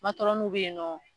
bɛ yen nɔ.